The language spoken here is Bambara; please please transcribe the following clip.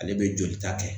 Ale bɛ jolita kɛ